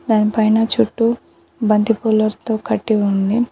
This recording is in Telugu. దాని పైన చుట్టూ బంతి పూలర్తో కట్టి ఉంది.